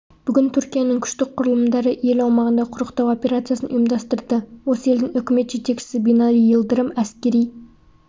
бүгін түркияның күштік құрылымдары ел аумағында құрықтау операциясын ұйымдастырды осы елдің үкімет жетекшісі бинали йылдырым әскери